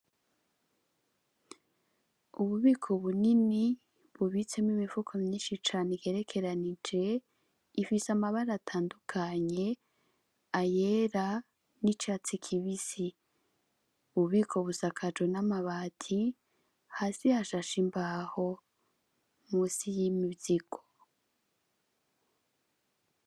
Ububiko bunini bubitsemwo imifuko myinshi cane igerekeranije, ifise amabara atandukanye ayera n'icatsi kibisi, ubwo bubiko busakajwe n'amabati hasi hashashe imbaho munsi y'imizigo.